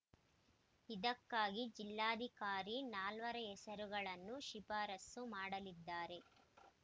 ಇದಕ್ಕಾಗಿ ಜಿಲ್ಲಾಧಿಕಾರಿ ನಾಲ್ವರ ಹೆಸರುಗಳನ್ನು ಶಿಫಾರಸು ಮಾಡಲಿದ್ದಾರೆ